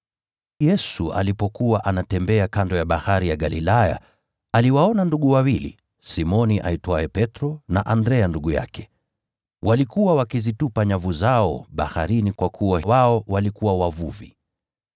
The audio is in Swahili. Yesu alipokuwa anatembea kando ya Bahari ya Galilaya, aliwaona ndugu wawili, Simoni aitwaye Petro, na Andrea ndugu yake. Walikuwa wakizitupa nyavu zao baharini kwa kuwa wao walikuwa wavuvi.